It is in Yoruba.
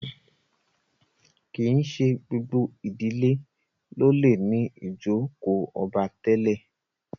kín ṣe gbogbo ìdílé ló lẹ ní ijoko obá tèlé.